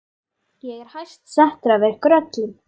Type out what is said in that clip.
Ég er hæst settur af ykkur öllum!